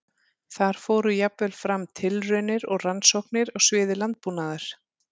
Þar fóru jafnvel fram tilraunir og rannsóknir á sviði landbúnaðar.